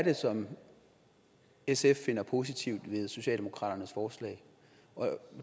er som sf finder positivt ved socialdemokraternes forslag